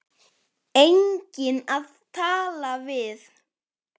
Enginn að tala við.